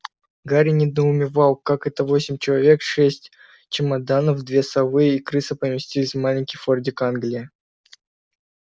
гарри недоумевал как это восемь человек шесть чемоданов две совы и крыса поместились в маленький фордик англия